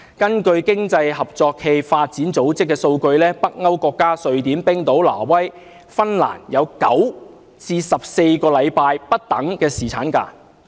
根據經濟合作與發展組織的數據，北歐國家瑞典、冰島、挪威和芬蘭分別有9至14星期不等的侍產假。